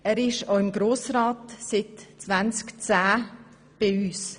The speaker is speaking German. Im Grossen Rat hat er seit 2010 Einsitz.